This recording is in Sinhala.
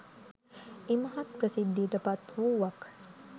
ඉමහත් ප්‍රසිද්ධියට පත් වූවක්.